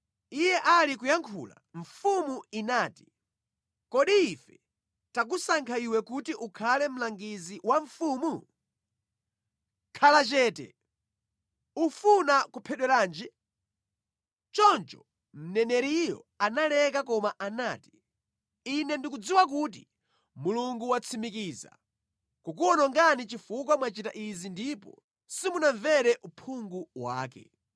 Iye ali kuyankhula, mfumu inati, “Kodi ife takusankha iwe kuti ukhale mlangizi wa mfumu? Khala chete! Ufuna kuphedweranji?” Choncho mneneriyo analeka koma anati, “Ine ndikudziwa kuti Mulungu watsimikiza kukuwonongani chifukwa mwachita izi ndipo simunamvere uphungu wanga.”